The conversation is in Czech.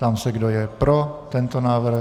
Ptám se, kdo je pro tento návrh.